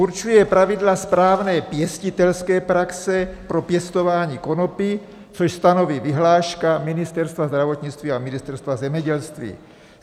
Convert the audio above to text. Určuje pravidla správné pěstitelské praxe pro pěstování konopí, což stanoví vyhláška Ministerstva zdravotnictví a Ministerstva zemědělství.